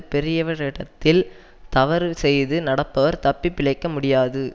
பெரியவரிடத்தில் தவறு செய்து நடப்பவர் தப்பி பிழைக்க முடியாது